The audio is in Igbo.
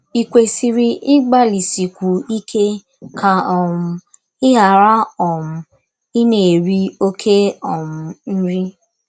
Ì kwesịrị ịgbalịsikwu ike ka um ị ghara um ịna - eri ọké um nri?